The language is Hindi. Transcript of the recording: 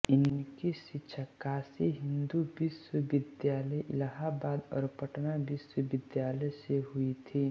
उनकी शिक्षा काशी हिन्दू विश्वविद्यालयइलाहाबाद और पटना विश्वविद्यालय से हुई थी